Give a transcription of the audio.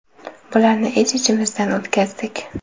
Bularni ich-ichimizdan o‘tkazdik.